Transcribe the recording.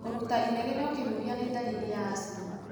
Kũruta inegene ũkĩhuhia nĩ ndariri ya asthma.